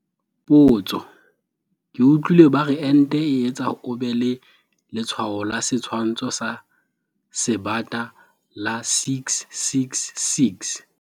Potso- Ke utlwile ba re ente e etsa o be le letshwao la setshwantsho sa Sebata la 666.